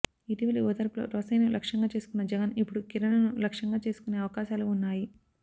ఇటీవలి ఓదార్పులో రోశయ్యను లక్ష్యంగా చేసుకన్న జగన్ ఇప్పుడు కిరణ్ ను లక్ష్యంగా చేసుకునే అవకాశాలు ఉన్నాయి